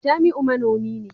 jamiu manomi ne